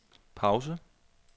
pause